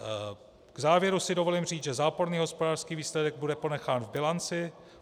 V závěru si dovolím říct, že záporný hospodářský výsledek bude ponechán v bilanci.